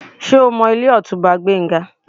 Ṣé o mọ ilé Ọ̀túnba Gbénga?